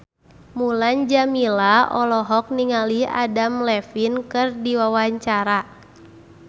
Mulan Jameela olohok ningali Adam Levine keur diwawancara